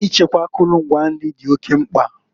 Ichekwa akụlụ ngwa nri di oke mkpa.